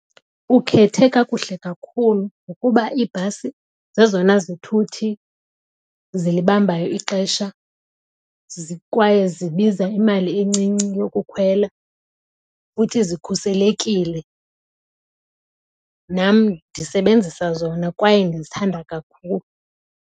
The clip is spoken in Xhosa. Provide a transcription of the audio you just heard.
Ukhethe kakuhle kakhulu ngokuba iibhasi zezona zithuthi zilibambayo ixesha kwaye zibiza imali encinci yokukhwela futhi zikhuselekile. Nam ndisebenzisa zona kwaye ndizithanda kakhulu.